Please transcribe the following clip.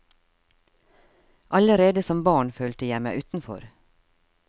Allerede som barn følte jeg meg utenfor.